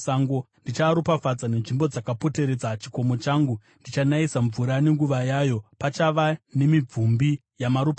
Ndichaaropafadza nenzvimbo dzakapoteredza chikomo changu. Ndichanayisa mvura nenguva yayo; pachava nemibvumbi yamaropafadzo.